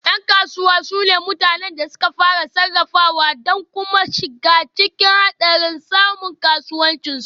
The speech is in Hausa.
Yan kasuwa su ne mutanen da suka fara, sarrafawa da kuma shiga cikin hadarin samun kasuwancin su